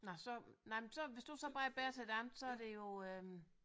Nej så nej men så hvis du så bare er bedre til det andet så er det jo